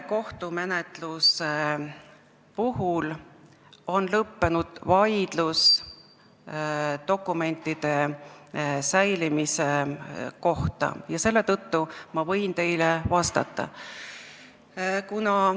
Kohtumenetluses on lõppenud vaidlus dokumentide säilimise üle ja selle tõttu võin ma teile vastata.